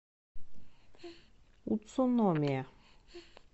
уцуномия